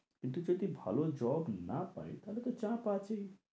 কিন্তু যদি ভালো job না পাই তাহলে তো চাপ আছে